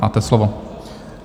Máte slovo.